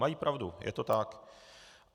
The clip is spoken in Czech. Mají pravdu, je to tak.